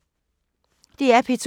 DR P2